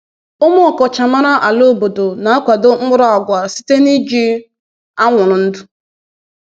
“Ụmụ ọkachamara ala obodo na-akwado mkpụrụ agwa site n’iji anwụrụ ndụ.”